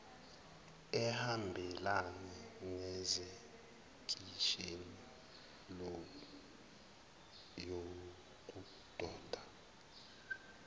ehambelana nesekisheni yokudoba